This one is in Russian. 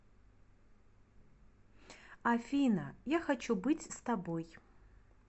афина я хочу быть с тобой